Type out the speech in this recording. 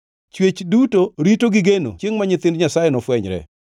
Chwech duto rito gi geno chiengʼ ma nyithind Nyasaye nofwenyre.